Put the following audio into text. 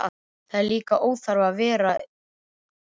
Það er líka óþarfi að vera að hafa fyrir því.